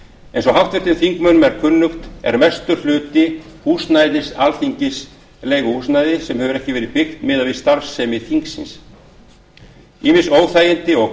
eins og háttvirtum þingmönnum er kunnugt er mestur hluti húsnæðis alþingis leiguhúsnæði sem hefur ekki verið byggt miðað við starfsemi þingsins ýmis óþægindi og